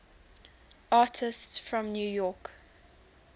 artists from new york